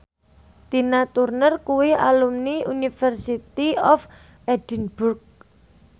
Tina Turner kuwi alumni University of Edinburgh